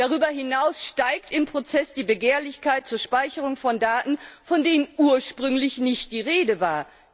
Darüber hinaus steigt im Prozess die Begehrlichkeit zur Speicherung von Daten, von denen ursprünglich nicht die Rede war.